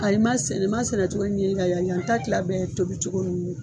A yi n ma sɛnɛ cogo ɲɛ yira yan yan ta kila bɛ ye tobi cogo nunnu